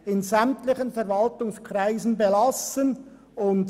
«in sämtlichen Verwaltungskreisen […] belassen […]»